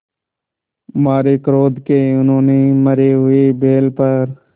मारे क्रोध के उन्होंने मरे हुए बैल पर